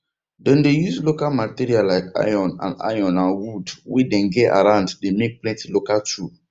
dem dey use local material like iron and iron and wood way dem get around dey make plenty local tool